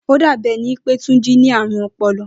Ó dàbí e̩ni pe Túnjí ní àrùn o̩po̩lo̩